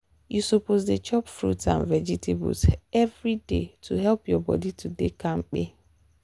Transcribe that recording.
you suppose dey chop fruit and vegetables every day to help your body to dey kampe.